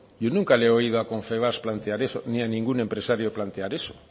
yo nunca le he oído a confebask plantear eso ni a ningún empresario plantear eso